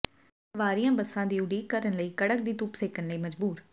ਸਵਾਰੀਆਂ ਬੱਸਾਂ ਦੀ ਉਡੀਕ ਕਰਨ ਲਈ ਕੜਕ ਦੀ ਧੁੱਪ ਸੇਕਣ ਲਈ ਮਜ਼ਬੂਰ